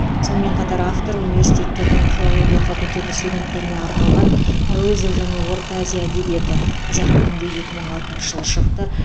сонымен қатар автор университеттердің филология факультеті студенттеріне арналған әуезов және орта азия әдебиеті қазақ тілінде екі мың алтыншы жылы шықты